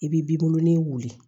I b'i b'i bolonɔni wuli